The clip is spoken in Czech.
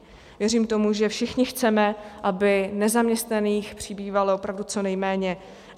Věřím tomu, že všichni chceme, aby nezaměstnaných přibývalo opravdu co nejméně.